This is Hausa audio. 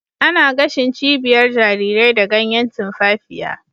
Ana gashin cibiyar jarirai da ganyan tumfafiya